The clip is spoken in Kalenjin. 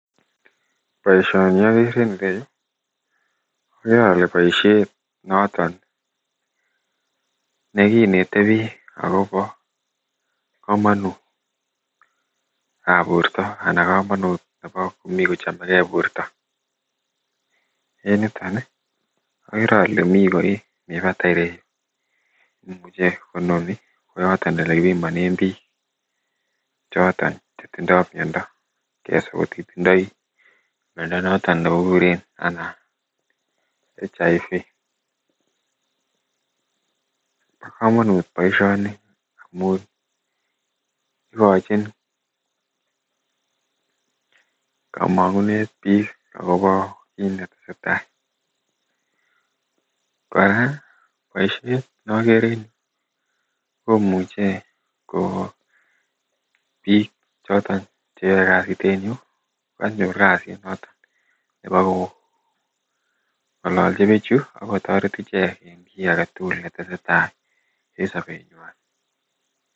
boishoni ogere en ireyuu ogere ole boisheet noton neginete biik agobo komonut ab boorto anan komonut nemii kochomegee boort, en niton iih ogere ole mii koriik bataai ireyuu nemuche kononi koyoton olegipimonen biik choton chetindoo myondoo keswa kotitindoii myondo noton negiguren anan human immunodeficiency virus, bokomonut boishoni omuun igochin komonguneet biik ak kobo kiit netesetai, koraa boisheet nogere en yuu komuche koo biik choton cheyoee kasiit en yuu koganyor kasit neboo kongolochi bichu ak kotoret icheek en kii agetugul netesetai en sobeet nywaan.